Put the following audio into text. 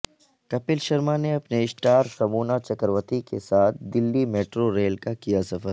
کپل شرما نے اپنی اسٹار سمونا چکرورتی کے ساتھ دلی میٹرو ریل کا کیا سفر